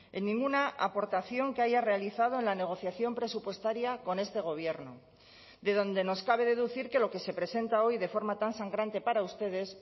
en ninguna aportación que haya realizado en la negociación presupuestaria con este gobierno de donde nos cabe deducir que lo que se presenta hoy de forma tan sangrante para ustedes